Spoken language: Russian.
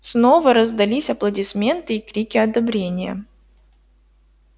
снова раздались аплодисменты и крики одобрения